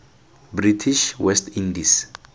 british west indies